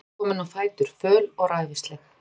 Milla var komin á fætur, föl og ræfilsleg.